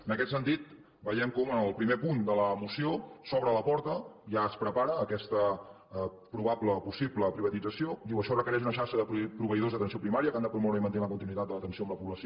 en aquest sentit veiem com en el primer punt de la moció s’obre la porta ja es prepara aquesta probable o possible privatització diu això requereix una xarxa de proveïdors d’atenció primària que han de promoure i mantenir la continuïtat de l’atenció amb la població